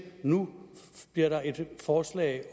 nu bliver der et forslag